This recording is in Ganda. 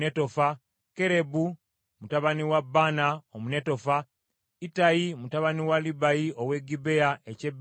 Kerebu mutabani wa Baana Omunetofa, Ittayi mutabani wa Libayi ow’e Gibea eky’e Benyamini,